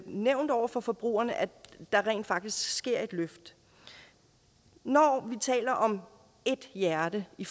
nævnt over for forbrugerne at der rent faktisk sker et løft når vi taler om ét hjerte i